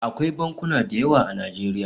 Akwai bankuna da yawa a Najeriya